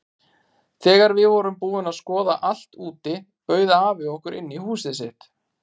Þegar við vorum búin að skoða allt úti bauð afi okkur inn í húsið sitt.